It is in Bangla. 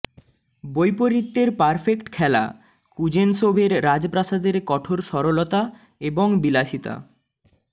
বৈপরীত্যের পারফেক্ট খেলা কুজেনসোভের রাজপ্রাসাদের কঠোর সরলতা এবং বিলাসিতা